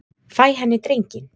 Fæ henni drenginn.